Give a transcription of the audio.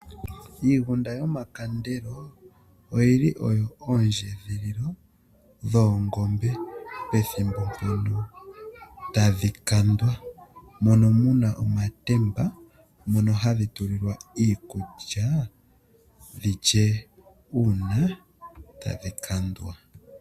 Iigunda yomakandelo, oyili oyo oondjendhililo dhoongombe pethimbo tadhi kandwa. Omuna omatemba moka hadhi tulilwa iikulya dhilye uuna tadhi kandwa.